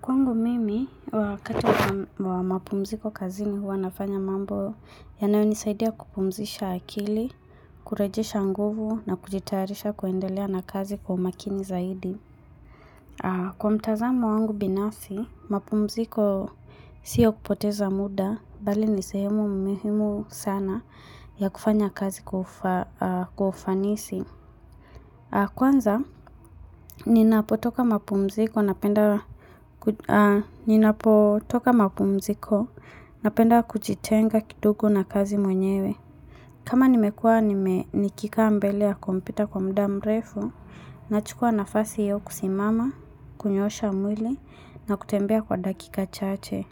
Kwangu mimi wakati wa mapumziko kazini huwa nafanya mambo yanayo nisaidia kupumzisha akili, kurejesha nguvu na kujitayarisha kuendelea na kazi kwa umakini zaidi. Kwa mtazamo wangu binasfi, mapumziko siyo kupoteza muda, bali ni sehemu muhimu sana ya kufanya kazi kwa ufa kwa ufanisi. Kwanza, ninapotoka mapumziko napenda ninapotoka mapumziko napenda kujitenga kidogo na kazi mwenyewe. Kama nimekua, nime nikikaa mbele ya kompyuta kwa mda mrefu na chukua nafasi hiyo kusimama, kunyoosha mwili na kutembea kwa dakika chache.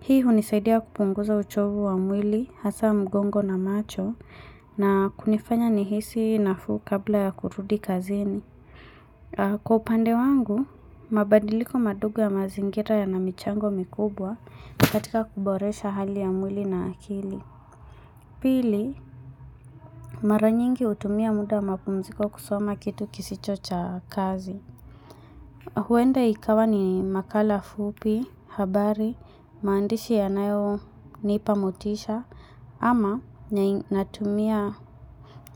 Hii hunisaidia kupunguza uchovu wa mwili hasa mgongo na macho na kunifanya nihisi nafuu ka bila ya kurudi kazini. Kwa upande wangu, mabadiliko madogo ya mazingita yana michango mikubwa katika kuboresha hali ya mwili na akili. Pili, mara nyingi hutumia muda mapumziko kusoma kitu kisicho cha kazi. Huenda ikawa ni makala fupi, habari, maandishi yanayo nipa motisha, ama natumia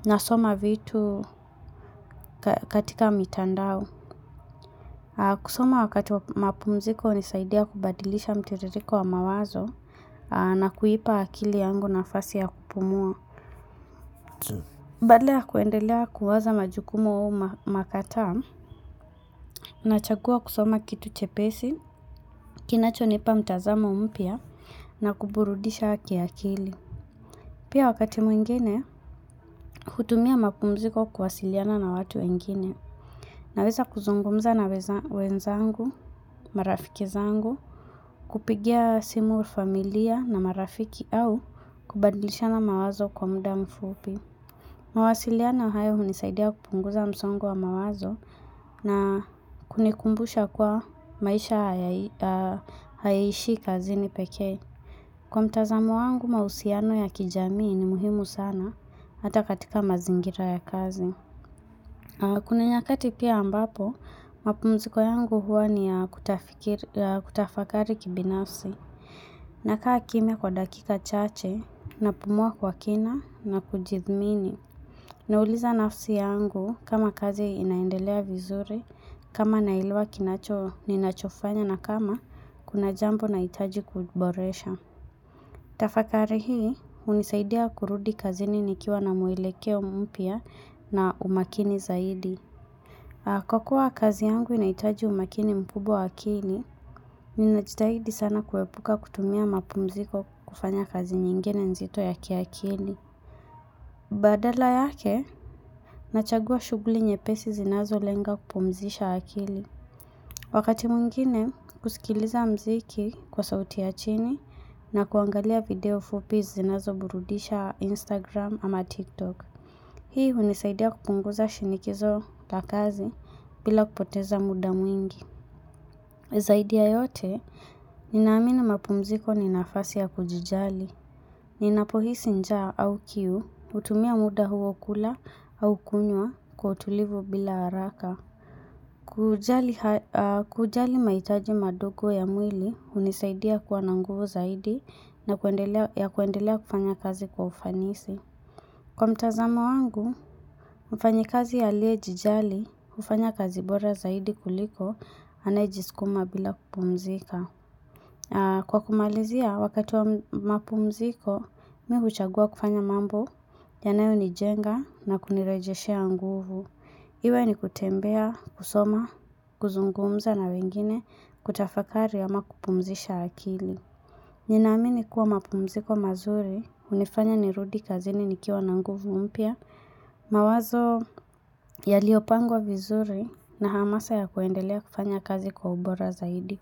nasoma vitu kati katika mitandao. Kusoma wakati wa mapumziko hunisaidia kubadilisha mtiririko wa mawazo na kuipa akili yangu nafasi ya kupumua. Badla ya kuendelea kuwaza majukumu au ma makata, nachagua kusoma kitu chepesi, kinacho nipa mtazamo mpya na kuburudisha kia akili. Pia wakati mwingine, kutumia mapumziko kuwasiliana na watu wengine. Naweza kuzungumza na wen wenzangu, marafiki zangu, kupigia simu familia na marafiki au kubadilishana mawazo kwa muda mfupi. Mawasiliano hayo hunisaidia kupunguza msongo wa mawazo na kunikumbusha kuwa maisha haya hayaishii kazini pekee Kwa mtazamo wangu mahusiano ya kijamii ni muhimu sana hata katika mazingira ya kazi. Kuna nyakati pia ambapo, mapumziko yangu huwa ni ya kutafikiri kutafakari kibinafsi. Nakaa kimya kwa dakika chache, napumua kwa kina na kujidhmini. Nauliza nafsi yangu kama kazi inaendelea vizuri, kama naelewa kinacho ninachofanya na kama, kuna jambo nahitaji kuboresha. Tafakari hii hunisaidia kurudi kazini nikiwa na mwelekeo mpya na umakini zaidi. Kwa kuwa kazi yangu inahitaji umakini mkubwa akini, ninajitahidi sana kuepuka kutumia mapumziko kufanya kazi nyingine nzito ya kiakini. Badala yake, nachagua shughuli nyepesi zinazo lenga kupumzisha akili. Wakati mwngine, kusikiliza mziki kwa sauti ya chini na kuangalia video fupi zinazo burudisha Instagram ama TikTok. Hii hunisaidia kupunguza shinikizo la kazi bila kupoteza muda mwingi. Zaidi ya yote, ninaamini mapumziko ni nafasi ya kujijali. Ninapohisi njaa au kiu, hutumia muda huo kula au kunywa kwa utulivu bila haraka. Kujali mahitaji madogo ya mwili hunisaidia kuwa na nguvu zaidi na kuendelea ya kuendelea kufanya kazi kwa ufanisi. Kwa mtazamo wangu, mfanyi kazi aliyejijali, hufanya kazi bora zaidi kuliko, anayejiskuma bila kupumzika. Kwa kumalizia, wakati wa mapumziko, mi huchagua kufanya mambo, yanayo nijenga na kunirejeshea nguvu. Iwe ni kutembea, kusoma, kuzungumza na wengine kutafakari ama kupumzisha akili. Nina amini kuwa mapumziko mazuri, hunifanya nirudi kazini nikiwa na nguvu mpya, mawazo yalio pangwa vizuri na hamasa ya kuendelea kufanya kazi kwa ubora zaidi.